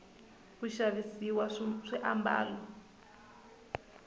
ku xavisiwa swiambalo